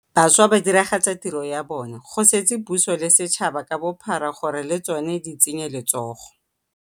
Bašwa ba diragatsa tiro ya bona, go setse puso le setšhaba ka bophara gore le tsona di tsenye letsogo.